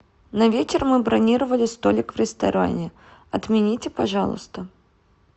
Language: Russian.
на вечер мы бронировали столик в ресторане отмените пожалуйста